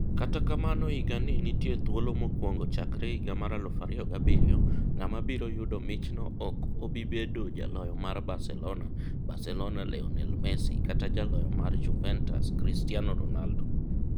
Kata kamano higa ni nitie thuolo mokwongo chakre higa mar 2007 ng'ama biro yudo michno ok obibedo jaloyo mar Barcelona Barcelona Lionel Messi kata jaloyo mar Juventus Cristiano Ronaldo